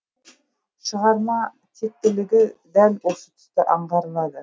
шығарма тектілігі де дәл осы тұста аңғарылады